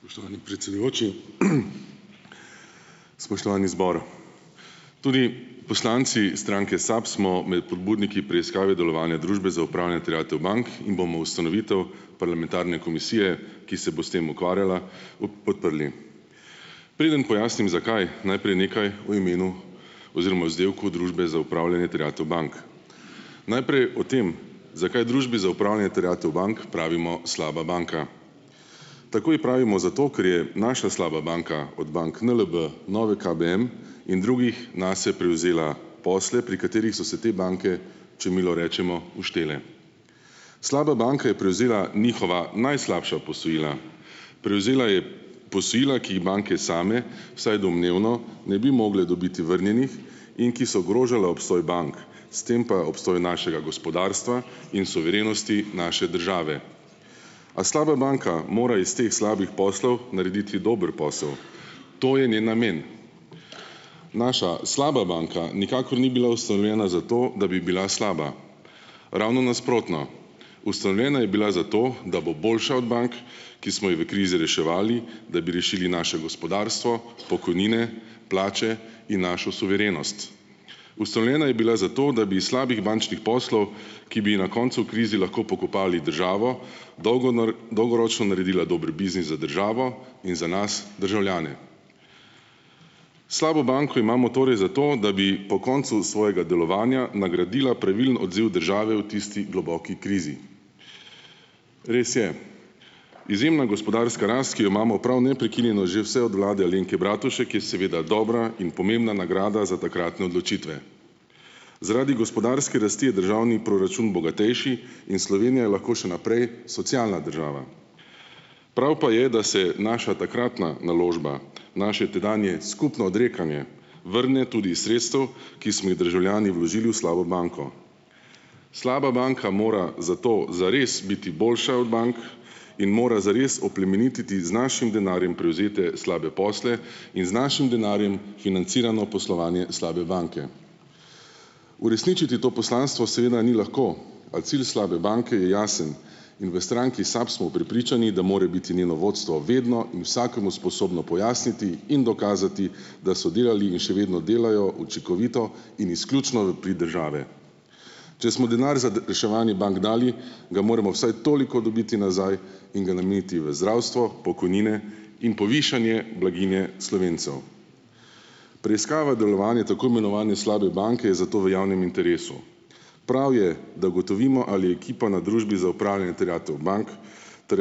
Spoštovani predsedujoči, spoštovani zbor, tudi poslanci stranke SAB smo med pobudniki preiskave delovanja Družbe za upravljanje terjatev bank in bomo ustanovitev parlamentarne komisije, ki se bo s tem ukvarjala, podprli. Preden pojasnim, zakaj, najprej nekaj o imenu oziroma vzdevku Družbe za upravljanje terjatev bank, najprej o tem, zakaj Družbi za upravljanje terjatev bank pravimo slaba banka. Tako ji pravimo zato, ker je naša slaba banka od bank NLB, Nove KBM in drugih nase prevzela posle, pri katerih so se te banke, če milo rečemo, uštele. Slaba banka je prevzela njihova najslabša posojila, prevzela je posojila, ki jih banke same vsaj domnevno ne bi mogle dobiti vrnjenih in ki so ogrožala obstoj bank, s tem pa obstoj našega gospodarstva in suverenosti naše države, a slaba banka mora iz teh slabih poslov narediti dober posel, to je njen namen, naša slaba banka nikakor ni bila ustanovljena za to, da bi bila slaba, ravno nasprotno, ustanovljena je bila zato, da bo boljša od bank, ki smo jih v krizi reševali, da bi rešili naše gospodarstvo, pokojnine, plače in našo suverenost, ustanovljena je bila zato, da bi iz slabih bančnih poslov, ki bi ji na koncu v krizi lahko pokopali državo dolgoročno naredila dober biznis za državo in za nas, državljane, slabo banko imamo torej zato, da bi po koncu svojega delovanja nagradila pravilen odziv države v tisti globoki krizi. Res je, izjemna gospodarska rast, ki jo imamo prav neprekinjeno že vse od vlade Alenke Bratušek, je seveda dobra in pomembna nagrada za takratne odločitve, zaradi gospodarske rasti je državni proračun bogatejši in Slovenija je lahko še naprej socialna država, prav pa je, da se naša takratna naložba, naše tedanje skupno odrekanje vrne tudi sredstev, ki smo jih državljani vložili v slabo banko, slaba banka mora zato zares biti boljša od bank in mora zares oplemenititi z našim denarjem prevzete slabe posle in z našim denarjem financirano poslovanje slabe banke. Uresničiti to poslanstvo seveda ni lahko, a cilj slabe banke je jasen, in v stranki SAB smo prepričani, da mora biti njeno vodstvo vedno in vsakemu sposobno pojasniti in dokazati, da so delali in še vedno delajo učinkovito in izključno v prid države, če smo denar za reševanje bank dali, ga moramo vsaj toliko dobiti nazaj in ga nameniti v zdravstvo, pokojnine in povišanje blaginje Slovencev. Preiskava delovanja tako imenovane slabe banke je zato v javnem interesu, prav je, da ugotovimo, ali je ekipa na Družbi za upravljanje terjatev bank m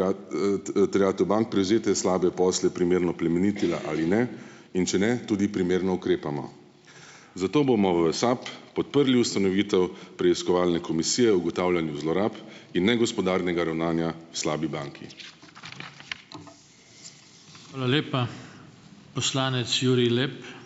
terjatev bank prevzete slabe posle primerno plemenitila ali ne, in če ne, tudi primerno ukrepamo, zato bomo v SAB podprli ustanovitev preiskovalne komisije o ugotavljanju zlorab in negospodarnega ravnanja slabi banki. Hvala lepa, poslanec Jurij Lep.